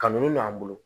Ka min don an bolo